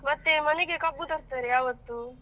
ಮತ್ತೆ ಮನೆಗೆ ಕಬ್ಬು ತರ್ತಾರೆ ಅವತ್ತು.